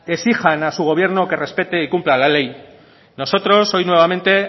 exijan a su gobierno que respete y cumpla la ley nosotros hoy nuevamente